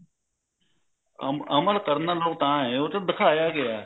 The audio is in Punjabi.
ਅਮਲ ਅਮਲ ਕਰਨ ਲੋਕ ਤਾਂ ਏ ਉਹ ਚ ਦਿਖਾਇਆ ਗਿਆ